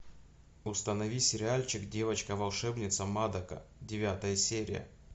установи сериальчик девочка волшебница мадока девятая серия